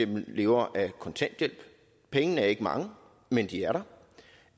lever af kontanthjælp pengene er ikke mange men de er der